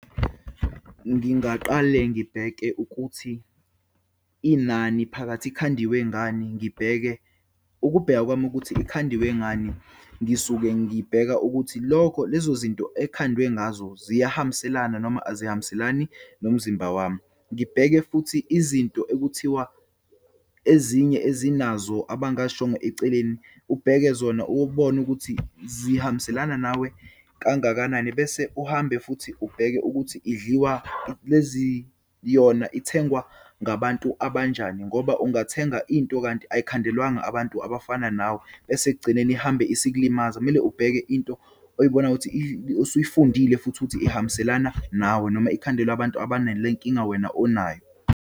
Ngingaqale ngibheke ukuthi inani phakathi, ikhandiwe ngani. Ngibheke, ukubheka kwami ukuthi ikhandiwe ngani, ngisuke ngibheka ukuthi lokho lezo zinto ekhandwe ngazo ziyahambiselana noma azihambiselani nomzimba wami. Ngibheke futhi izinto ekuthiwa ezinye ezinazo abangazishongo eceleni, ubheke zona ubone ukuthi zihambiselana nawe kangakanani. Bese uhambe futhi ubheke ukuthi idliwa, lezi yona ithengwa ngabantu abanjani, ngoba ungathenga into kanti ayikhandelwanga abantu abafana nawe, bese ekugcineni ihambe isikulimaza. Kumele ubheke into oyibonayo ukuthi osuyifundile futhi ukuthi ehambiselana nawe, noma ikhandelwe abantu abane le nkinga wena onayo.